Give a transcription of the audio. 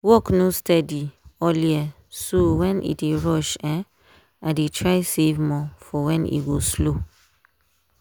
work no steady all year so when e dey rush um i dey try save more for when e go slow.